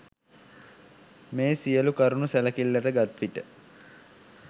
මේ සියලු කරුණු සැලකිල්ල ගත් විට